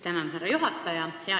Tänan, härra juhataja!